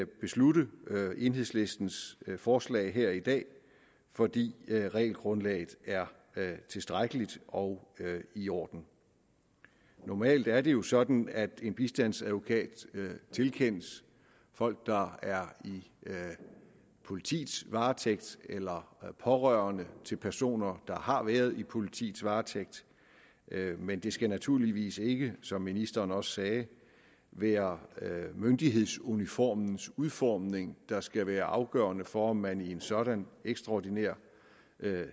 beslutte enhedslistens forslag her i dag fordi regelgrundlaget er tilstrækkeligt og i orden normalt er det jo sådan at en bistandsadvokat tilkendes folk der er i politiets varetægt eller pårørende til personer der har været i politiets varetægt men det skal naturligvis ikke som ministeren også sagde være myndighedsuniformens udformning der skal være afgørende for om man i en sådan ekstraordinær